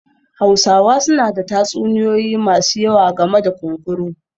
Hausawa suna da tatsuniyoyi masu yawa game da kunkuru